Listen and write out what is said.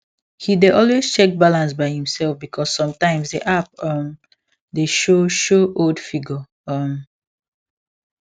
he dey always check balance by himself because sometimes the app um dey show show old figure um